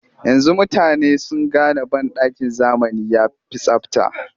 Yanzu mutane sun gane banɗakin zamani ya fi tsabta